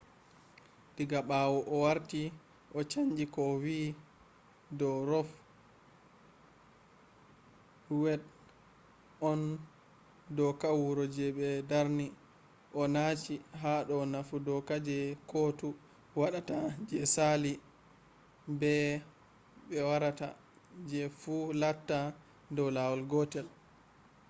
diga ɓawo o warti o chanji ko o wi do ro v. wed on doka wuro je ɓe darni” o nachi hado nafu doka je kotu waɗata je sali be je warata fu latta dow lawol gotel